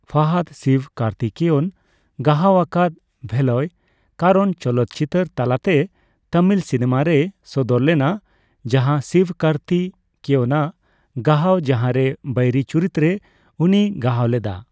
ᱯᱷᱟᱦᱟᱫᱽ ᱥᱤᱵᱽᱠᱟᱨᱛᱷᱤᱠᱮᱭᱚᱱ ᱜᱟᱦᱟᱣ ᱟᱠᱟᱫ ᱵᱷᱮᱞᱟᱭᱠᱟᱨᱚᱱ ᱪᱚᱞᱚᱛ ᱪᱤᱛᱟᱹᱨ ᱛᱟᱞᱟᱛᱮ ᱛᱟᱢᱤᱞ ᱥᱤᱱᱮᱢᱟ ᱨᱮᱭ ᱥᱚᱫᱚᱨ ᱞᱮᱱᱟ, ᱡᱟᱦᱟᱸ ᱥᱤᱵᱽᱠᱟᱨᱛᱷᱤᱠᱮᱭᱚᱱ ᱟᱜ ᱜᱟᱦᱟᱣ , ᱡᱟᱦᱟᱸ ᱨᱮ ᱵᱟᱭᱨᱤ ᱪᱩᱨᱤᱛ ᱨᱮ ᱩᱱᱤᱭ ᱜᱟᱦᱟᱣ ᱞᱮᱫᱟ ᱾